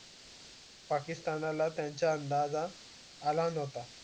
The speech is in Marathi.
पाकिस्थान ला त्याचा अंदाजा आला नव्हता